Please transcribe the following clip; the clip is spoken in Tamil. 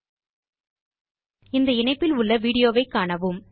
httpspoken tutorialorgWhat is a Spoken Tutorial இல் கிடைக்கும் விடியோவை காணுங்கள்